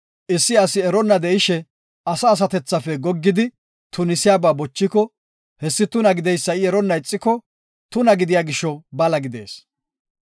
Issi asi eronna de7ishe asa asatethafe goggidi tunisiyaba bochiko, hessi tuna gideysa I eronna ixiko, tuna gidiya gisho bala gidees.